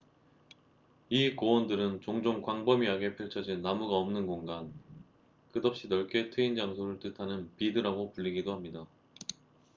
"이 고원들은 종종 광범위하게 펼쳐진 나무가 없는 공간 끝없이 넓게 트인 장소를 뜻하는 "비드""라고 불리기도 합니다.